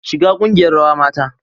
Shiga kungiyar rawa mata